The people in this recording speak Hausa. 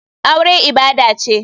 Aure ibada ce.